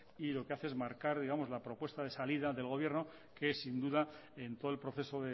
y lo que hace es marcar la propuesta de salida del gobierno que sin duda en todo el proceso